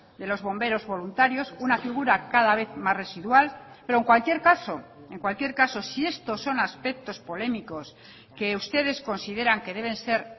de los bomberos voluntarios una figura cada vez más residual pero en cualquier caso en cualquier caso si estos son aspectos polémicos que ustedes consideran que deben ser